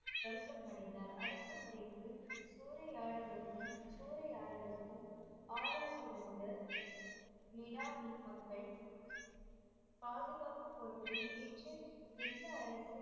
வருத்தம் அடைந்தார் அடக்குமுறைக்கு சூறையாடலுக்கும் சூறையாடலுக்கும் ஆளாய் இருந்த நிலானி மக்கள் பாதுகாப்பு பொறுப்பை ஏற்று எந்த அரசு